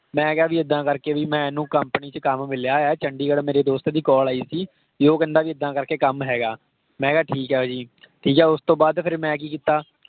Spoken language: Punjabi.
ਮੈਂ ਕਿਹਾ ਵੀ ਇੱਦਾਂ ਕਰ ਕੇ ਵੀ ਮੈਨੂੰ company ਵਿਚ ਕੱਮ ਮਿਲਿਆ ਆ, ਚੰਡੀਗੜ੍ਹ ਮੇਰੇ ਦੋਸਤ ਦੀ call ਆਈ ਸੀ ਭੀ ਉਹ ਕਹਿੰਦਾ ਵੀ ਇੱਦਾਂ ਕਰ ਕੇ ਕੱਮ ਹੈਗਾ। ਮੈਂ ਕਿਹਾ ਠੀਕ ਆ ਜੀ। ਠੀਕ ਹੈ, ਉਸਤੋਂ ਬਾਅਦ ਫਿਰ ਮੈਂ ਕਿ ਕੀਤਾ।